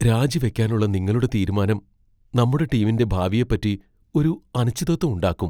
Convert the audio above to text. രാജിവെക്കാനുള്ള നിങ്ങളുടെ തീരുമാനം നമ്മുടെ ടീമിന്റെ ഭാവിയെപ്പറ്റി ഒരു അനിശ്ചിതത്വം ഉണ്ടാക്കും.